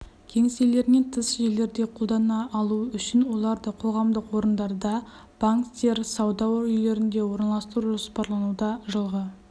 кеңселерінен тыс жерлерде қолдана алуы үшін оларды қоғамдық орындарда банктер сауда үйлерінде орналастыру жоспарлануда жылғы